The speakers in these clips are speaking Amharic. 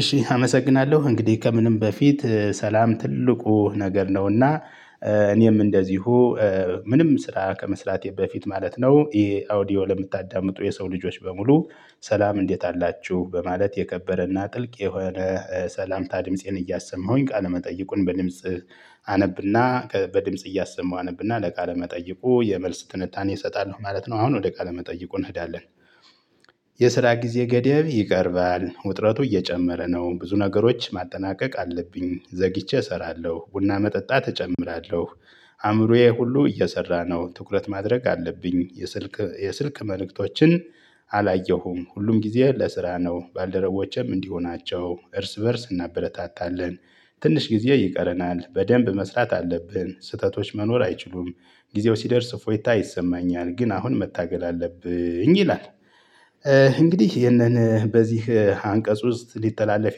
እሺ አመሰግናለሁ እንግዲህ ከምንም በፊት ሰላም ትልቁ ነገር ነውና። እኔም እንደዚሁ ምንም ስራ ከመስራቴ በፊት ማለት ነው። ይሄ አውዲዮ ለምታዳምጡ የሰው ልጆች በሙሉ። ሰላም እንዴት አላችሁ በማለት የከበረና ጥልቅ የሆነ ሰላምታ ድምፄን እያሰማሁኝ ቃለመጠይቁን በድምጽ አነብና በድምጽ እያሰሙ አነብና ለቃለ መጠይቁ የመልስ ትንታኔ እሰጣለሁ ማለት ነው። አሁን ወደ ቃለ መጠይቁ እንሄዳለን። የስራ ጊዜ ገደብ ይቀርባል ውጥረቱ እየጨመረ ነው። ብዙ ነገሮች ማጠናቀቅ አለብኝ ዘግይቼ እሰራለሁ ቡና መጠጣት እጨምራለሁ። አእምሮዬ ሁሉ እየሰራ ነው ትኩረት ማድረግ አለብኝ የስልክ የስልክ መልእክቶችን። አላየሁም ሁሉም ጊዜ ለስራ ነው። ባልደረቦቼም እንዲሆናቸው እርስ በእርስ እናበረታታለን። ትንሽ ጊዜ ይቀረናል በደንብ መስራት አለብን ስህተቶች መኖር አይችሉም። ጊዜው ሲደርስ ፎይታ ይሰማኛል ግን አሁን መታገል አለብኝ ይላል። እንግዲህ ይሄንን በዚህ አንቀጽ ውስጥ ሊተላለፍ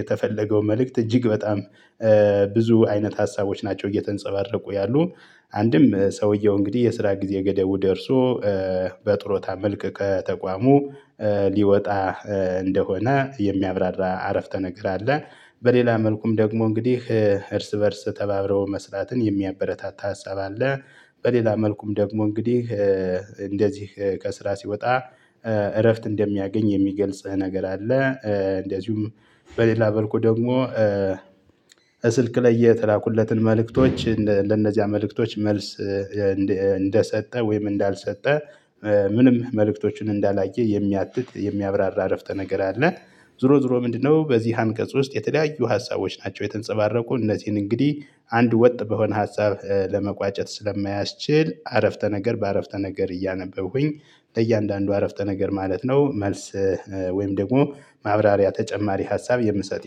የተፈለገው መልእክት እጅግ በጣም ብዙ አይነት ሀሳቦች ናቸው እየተንጸባረቁ ያሉት። አንድም ሰውየው እንግዲህ የስራ ጊዜ ገደቡ ደርሶ በጥሮታ መልክ ከተቋሙ ሊወጣ እንደሆነ የሚያብራራ አረፍተ ነገር አለ። በሌላ መልኩም ደግሞ እንግዲህ እርስ በእርስ ተባብረው መስራትን የሚያበረታታ ሀሳብ አለ። በሌላ መልኩም ደግሞ እንግዲህ እንደዚህ ከስራ ሲወጣ እረፍት እንደሚያገኝ የሚገልጽህ ነገር አለ። እንደዚሁም በሌላ በልኩ ደግሞ ስልክ ላይ የተላኩለትን መልእክቶች ለነዚያ መልእክቶች መልስ እንደሰጠ ወይም እንዳልሰጠ ምንም መልእክቶችን እንዳላየ የሚያትት የሚያብራራ አረፍተ ነገር አለ። ዝሮ ዝሮ ምንድነው? በዚህ አንቀጽ ውስጥ የተለያዩ ሀሳቦች ናቸው የተንጸባረቁ እነዚህን እንግዲህ አንድ ወጥ በሆነ ሀጻፍ ለመቋጨት ስለማያስችል አረፍተ ነገር በአረፍተ ነገር እያነበብኩኝ በእያንዳንዱ አረፍተ ነገር ማለት ነው። መልስ ወይም ደግሞ ማብራሪያ ተጨማሪ ሀሳብ የምሰጥ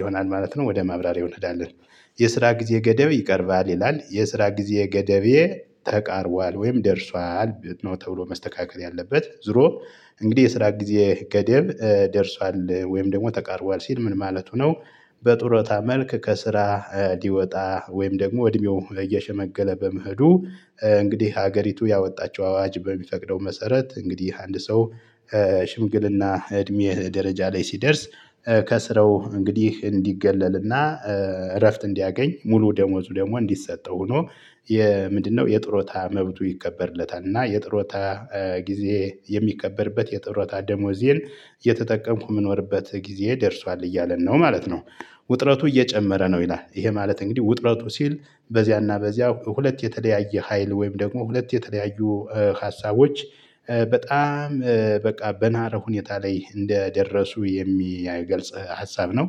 ይሆናል ማለት ነው። ወደ ማብራሪያ ይወልዳል። የስራ ጊዜ ገደብ ይቀርባል ይላል የስራ ጊዜ ገደቤ ተቃርቧል ወይም ደርሷል ነው ተብሎ መስተካከል ያለበት ዝሮ እንግዲህ የስራ ጊዜ ገደብ ደርሷል ወይም ደግሞ ተቃርቧል ሲል ምን ማለቱ ነው? በጡረታ መልክ ከስራ ሊወጣ ወይም ደግሞ እድሜው እየሸመገለ በመሄዱ እንግዲህ ሀገሪቱ ያወጣችው አዋጅ በሚፈቅደው መሰረት እንግዲህ አንድ ሰው ሽምግልና እድሜህ ደረጃ ላይ ሲደርስ ከስረው እንግዲህ እንዲገለልና እረፍት እንዲያገኝ ሙሉ ደሞዙ ደግሞ እንዲሰጠው ሆኖ የምንድነው የጥሮታ መብቱ ይከበርለታል እና የጥሮታ ጊዜ የሚከበርበት የጥሮታ ደሞዜን የተጠቀምኩ መኖርበት ጊዜ ደርሷል እያለ ነው ማለት ነው። ውጥረቱ እየጨመረ ነው ይላል ይሄ ማለት እንግዲህ ውጥረቱ ሲል በዚያና በዚያ ሁለት የተለያየ ሀይል ወይም ደግሞ ሁለት የተለያዩ ሀሳቦች በጣም በቃ በናረ ሁኔታ ላይ እንደደረሱ የሚገልጽ ሀሳብ ነው።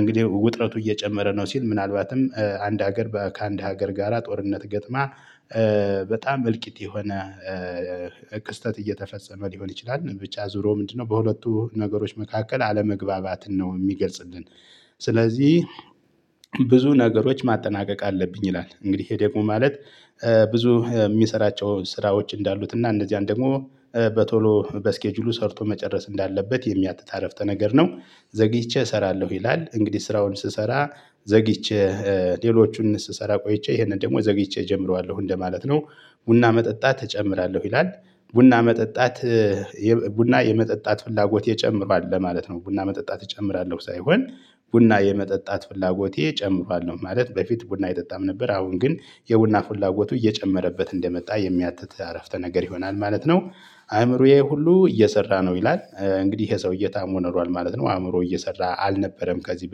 እንግዲህ ውጥረቱ እየጨመረ ነው ሲል ምናልባትም አንድ ሀገር ከአንድ ሀገር ጋራ ጦርነት ገጥማ በጣም እልቂት የሆነ ክስተት እየተፈጸመ ሊሆን ይችላል። ብቻ ዞሮ ምንድነው በሁለቱ ነገሮች መካከል አለመግባባትን ነው የሚገልጽልን። ስለዚህ ብዙ ነገሮች ማጠናቀቅ አለብኝ ይላል እንግዲህ ይሄ ደግሞ ማለት ብዙ የሚሰራቸው ስራዎች እንዳሉት እና እነዚያን ደግሞ በቶሎ በስኬጁሉ ሰርቶ መጨረስ እንዳለበት የሚያትት አረፍተ ነገር ነው። ዘግይቼ እሰራለሁ ይላል እንግዲህ ስራውን ስሰራ ዘግይቼ ሌሎቹን ስሰራ ቆይቼ ይሄንን ደግሞ ዘግይቼ እጀምረዋለሁ እንደማለት ነው። ቡና መጠጣት እጨምራለሁ ይላል። ቡና መጠጣት ቡና የመጠጣት ፍላጎት የጨምሯል ለማለት ነው ቡና መጠጣት እጨምራለሁ ሳይሆን ቡና የመጠጣት ፍላጎቴ እጨምራለሁ ማለት በፊት ቡና የጠጣም ነበር አሁን ግን የቡና ፉላጎቱ እየጨመረበት እንደመጣ የሚያትት አረፍተ ነገር ይሆናል ማለት ነው። አእምሮዬ ሁሉ እየሰራ ነው ይላል። እንግዲህ ይሄ ሰውዬ ታሞ ኖሯል ማለት ነው አእምሮ እየሰራ አልነበረም ከዚህ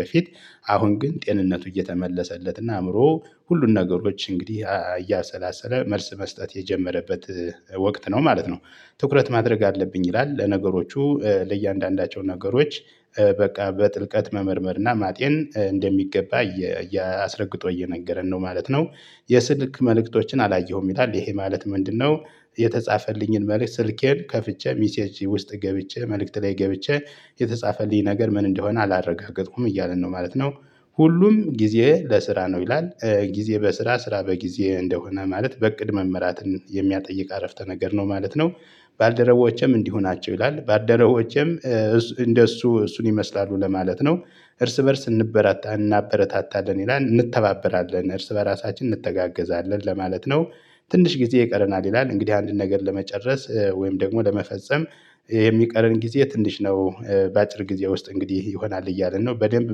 በፊት አሁን ግን ጤንነቱ እየተመለሰለት እና አእምሮ ሁሉን ነገሮች እንግዲህ እያሰላሰለ መልስ መስጠት የጀመረበት ወቅት ነው ማለት ነው። ትኩረት ማድረግ አለብኝ ይላል ለነገሮቹ ለእያንዳንዳቸው ነገሮች በቃ በጥልቀት መመርመር እና ማጤን እንደሚገባ አስረግጦ እየነገረን ነው ማለት ነው። የስልክ መልእክቶችን አላየሁም ይላል ይሄ ማለት ምንድነው? የተጻፈልኝን መልእክት ስልኬን ከፍቼ ሚሴጅ ውስጥ ገብቼ መልእክት ላይ ገብቼ የተጻፈልኝ ነገር ምን እንደሆነ አላረጋገጥኩም እያልን ነው ማለት ነው። ሁሉም ጊዜ ለስራ ነው ይላል ጊዜ በስራ ስራ በጊዜ እንደሆነ ማለት በእቅድ መመራትን የሚያጠይቅ አረፍተ ነገር ነው ማለት ነው። ባልደረቦቼም እንዲሆናቸው ይላል ባልደረቦቼም እንደሱ እሱን ይመስላሉ ለማለት ነው። እርስ በእርስ እንበራታለን እናበረታታለን ይላል እንተባበራለን እርስ በራሳችን እንተጋገዛለን ለማለት ነው። ትንሽ ጊዜ ይቀረናል ይላል እንግዲህ አንድን ነገር ለመጨረስ ወይም ደግሞ ለመፈጸም። የሚቀርን ጊዜ ትንሽ ነው በአጭር ጊዜ ውስጥ እንግዲህ ይሆናል እያልን ነው በደንብ